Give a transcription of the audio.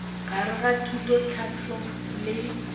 gare ga thuto tlhahlo le